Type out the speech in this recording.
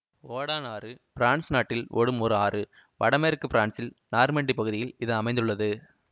ஒடான் ஆறு பிரான்சு நாட்டில் ஓடும் ஒரு ஆறு வடமேற்கு பிரான்சில் நார்மண்டி பகுதியில் இது அமைந்த்துள்ளது